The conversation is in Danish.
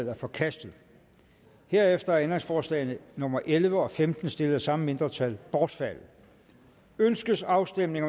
er forkastet herefter er ændringsforslagene nummer elleve og femten stillet af samme mindretal bortfaldet ønskes afstemning